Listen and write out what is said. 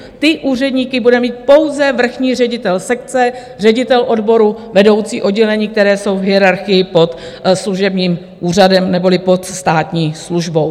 Ty úředníky bude mít pouze vrchní ředitel sekce, ředitel odboru, vedoucí oddělení, které jsou v hierarchii pod služebním úřadem neboli pod státní službou.